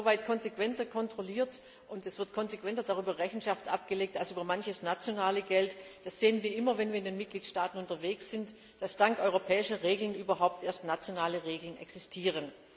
Es wird insoweit konsequenter kontrolliert und konsequenter Rechenschaft darüber abgelegt als über manches nationale Geld das sehen wir immer, wenn wir in den Mitgliedstaaten unterwegs sind da dank europäischer Regeln überhaupt erst nationale Regeln existieren.